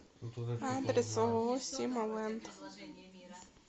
адрес ооо сима ленд